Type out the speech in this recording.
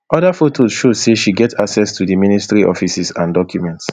oda fotos show say she get access to di ministry offices and documents